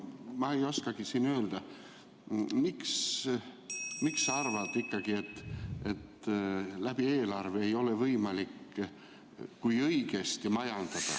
Ma ei oskagi öelda, miks sa arvad, et eelarve kaudu ei ole võimalik, kui õigesti majandada ...